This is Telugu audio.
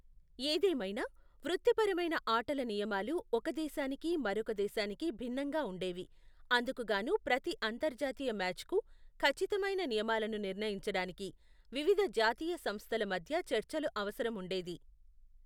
ఏదేమైనా, వృత్తిపరమైన ఆటల నియమాలు ఒక దేశానికి మరొక దేశానికి భిన్నంగా ఉండేవి, అందుకుగాను ప్రతి అంతర్జాతీయ మ్యాచ్కు ఖచ్చితమైన నియమాలను నిర్ణయించడానికి వివిధ జాతీయ సంస్థల మధ్య చర్చలు అవసరం ఉండేది.